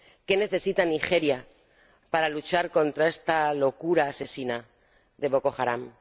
¿Qué necesita Nigeria para luchar contra esta locura asesina de Boko Haram?